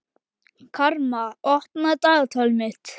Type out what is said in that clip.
Karma, opnaðu dagatalið mitt.